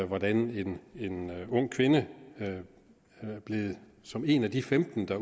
hvordan en ung kvinde som er en af de femten der